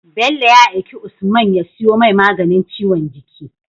Bello ya aiki usman ya siyo mai maganin ciwon jiki